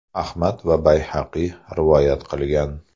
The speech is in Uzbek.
Ahmad va Bayhaqiy rivoyat qilgan.